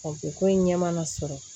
ko in ɲɛ mana sɔrɔ